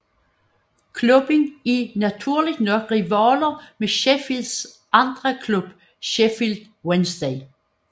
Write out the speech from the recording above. Klubben er naturligt nok rivaler med Sheffields anden klub Sheffield Wednesday